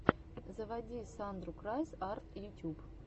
заводи сандру крайс арт ютюб